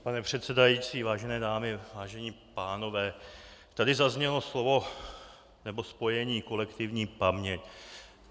Pane předsedající, vážené dámy, vážení pánové, tady zaznělo slovo - nebo spojení - kolektivní paměť.